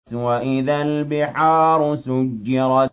وَإِذَا الْبِحَارُ سُجِّرَتْ